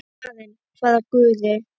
Karen: hvaða guði?